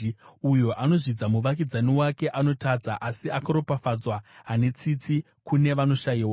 Uyo anozvidza muvakidzani wake anotadza, asi akaropafadzwa ane tsitsi kune vanoshayiwa.